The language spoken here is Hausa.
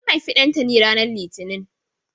An haifi Ɗantani ranar litini.